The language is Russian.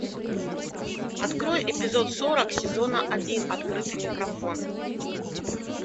открой эпизод сорок сезона один открытый микрофон